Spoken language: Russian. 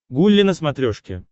гулли на смотрешке